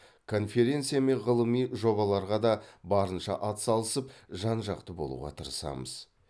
конференция мен ғылыми жобаларға да барынша атсалысып жан жақты болуға тырысамыз